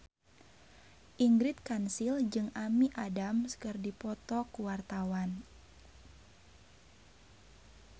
Ingrid Kansil jeung Amy Adams keur dipoto ku wartawan